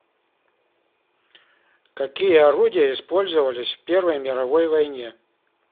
какие орудия использовались в первой мировой войне